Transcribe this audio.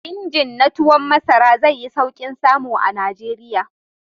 Injin na tuwon masara zai yi sauƙin samu a Najeriya.